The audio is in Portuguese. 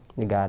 De